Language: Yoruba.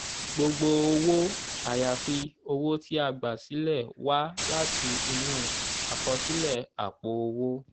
gbogbo owó àyàfi owó tí a gbà sílẹ̀ wá láti inú àkọsílẹ̀ àpò owó.